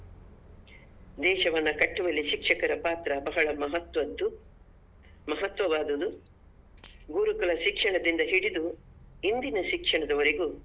ದೇಶವನ್ನು ಕಟ್ಟುವಲ್ಲಿ ಶಿಕ್ಷಕರ ಪಾತ್ರ ಬಹಳ ಮಹತ್ವದ್ದು ಮಹತ್ವವಾದದ್ದು ಗುರುಕುಲ ಶಿಕ್ಷಣದಿಂದ ಹಿಡಿದು ಇಂದಿನ ಶಿಕ್ಷಣದವರೆಗೂ.